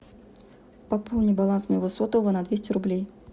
пополни баланс моего сотового на двести рублей